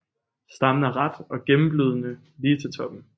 Stammen er ret og gennemløbende lige til toppen